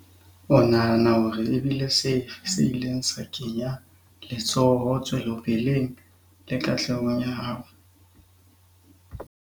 O nahana hore e bile sefe se ileng sa kenya letsoho tswelopeleng le katlehong ya hao?